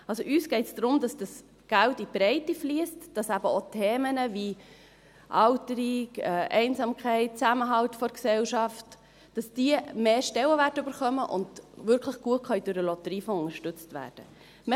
Also: Es geht uns darum, dass dieses Geld in die Breite fliesst, damit eben auch Themen wie Alterung, Einsamkeit, Zusammenhalt der Gesellschaft mehr Stellenwert erhalten und wirklich gut durch den Lotteriefonds unterstützt werden können.